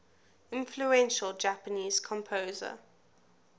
influential japanese composer